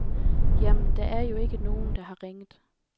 Jamen, der er jo ikke nogen, der har ringet.